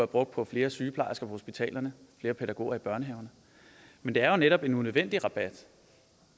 brugt på flere sygeplejersker på hospitalerne flere pædagoger i børnehaverne men det er jo netop en unødvendig rabat